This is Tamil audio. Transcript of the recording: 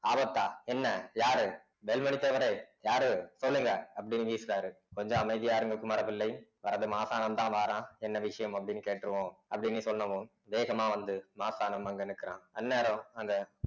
ஆபத்தா என்ன யாரு நெல்மணி தேவரே யாரு சொல்லுங்க அப்படின்னு வீசுறாரு கொஞ்சம் அமைதியா இருங்க குமரபிள்ளை வரது மாசானம் தான் வாரான் என்ன விஷயம் அப்படின்னு கேட்டிருவோம் அப்படின்னு சொன்னதும் வேகமா வந்து மாசானம் அங்கே நிற்கிறான் அந்நேரம் அந்த